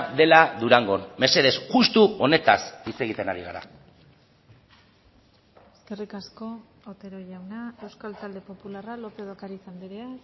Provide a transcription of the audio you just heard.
dela durangon mesedez justu honetaz hitz egiten ari gara eskerrik asko otero jauna euskal talde popularra lópez de ocariz andrea